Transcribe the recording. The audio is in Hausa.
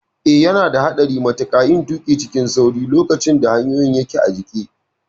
Eh, yana da haɗari matuƙa yin tuƙi cikin sauri lokacin da hanyoyin ke jike.